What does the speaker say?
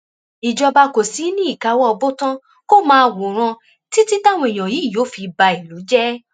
ìjọba kò sì ní í káwọ bọtán kó máa wòran títí táwọn èèyàn yìí yóò fi ba ìlú jẹ